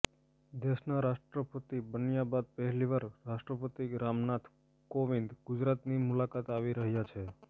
દેશના રાષ્ટ્રપતિ બન્યાં બાદ પહેલીવાર રાષ્ટ્રપતિ રામનાથ કોવિંદ ગુજરાતની મુલાકાતે આવી રહ્યાં છે